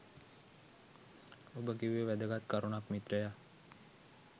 ඔබ කිව්වෙ වැදගත් කරුණක් මිත්‍රයා